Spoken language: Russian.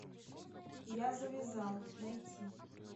я завязал найти